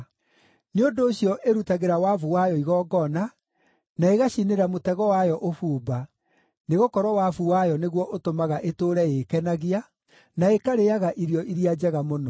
Nĩ ũndũ ũcio, ĩrutagĩra wabu wayo igongona, na ĩgacinĩra mũtego wayo ũbumba, nĩgũkorwo wabu wayo nĩguo ũtũmaga ĩtũũre ĩĩkenagia, na ĩkarĩĩaga irio iria njega mũno.